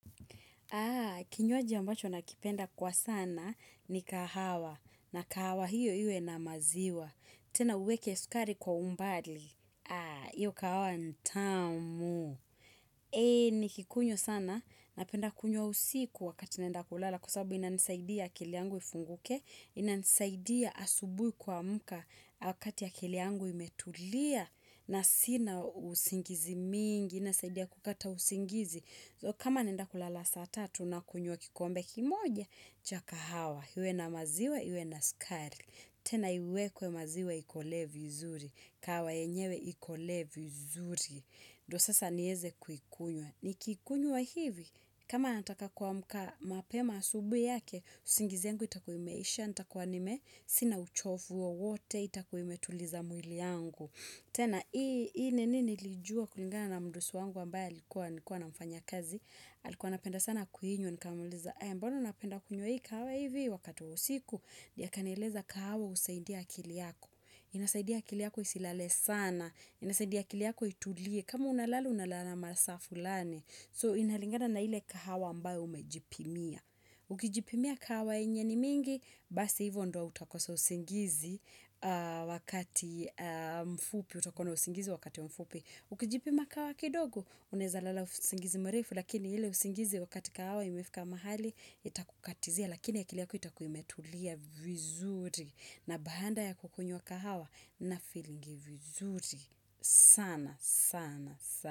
Kinywaji ambacho nakipenda kwa sana ni kahawa na kahawa hiyo iwe na maziwa. Tena uweke sukari kwa umbali. Iyo kahawa nitamu. Nikikunywa sana napenda kunywa usiku wakati naenda kulala kwa sababu ina nisaidia akili yangu ifunguke. Ina nisaidia asubui kuamka wakati akili yangu imetulia na sina usingizi mingi. Inasaidia kukata usingizi. Kama naenda kulala saa tatu nakunywa kikombe kimoja, cha kahawa. Iwe na maziwa, iwe na skari. Tena iwekwe maziwa, ikolee vizuri. Kahawa yenyewe, ikolee vizuri. Ndio sasa niweze kuikunywa. Nikiikunywa hivi, kama nataka kuamka mapema asubui yake, usingizi yangu itakuwa imeisha, nitakuwa nime, sina uchofu wowote, itakuwa imetuliza mwili yangu. Tena, hii nini nilijua kulingana na mdosi wangu ambaye alikuwa nilikuwa namfanyia kazi, alikuwa anapenda sana kuinywa, nikaamuliza, mbona unapenda kuinywa hii kahawa hivi wakati wa usiku, ndio akanieleza kahawa husaidia akili yako. Inasaidia akili yako isilale sana, inasaidia akili yako itulie, kama unalala unalala masaa fulani. So inalingana na ile kahawa ambayo umejipimia. Ukijipimia kahawa yenye ni mingi, basi hivyo ndo utakosa usingizi wakati mfupi. Utakuwa na usingizi wakati mfupi. Ukijipima kahawa kidogo, unawezalala usingizi mrefu. Lakini ile usingizi wakati kahawa imefika mahali, itakukatizia. Lakini akili yako itakuwa imetulia vizuri na baada ya kukunywa kahawa na feelingi vizuri. Sana, sana, sana.